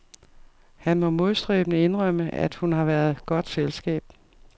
Han må modstræbende indrømme, at hun har været godt selskab.